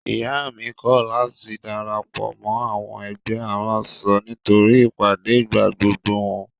Ìyá mi kọ̀ láti darapọ̀ mọ́ àwọn ẹgbẹ́ aránṣọ nítorí ìpàdé ìgbàgbogbo wọn.